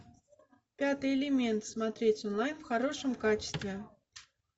пятый элемент смотреть онлайн в хорошем качестве